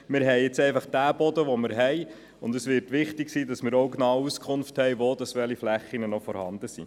Wir haben jetzt einfach den Boden, den wir haben, und es wird wichtig sein, genau darüber Auskunft zu erhalten, wo welche Flächen vorhanden sind.